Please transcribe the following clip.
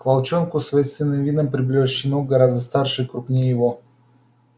к волчонку с воинственным видом приближался щенок гораздо старше и круггнее его